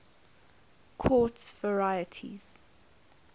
quartz varieties